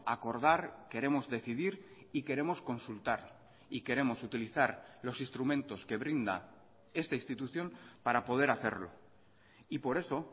acordar queremos decidir y queremos consultar y queremos utilizar los instrumentos que brinda esta institución para poder hacerlo y por eso